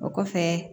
O kɔfɛ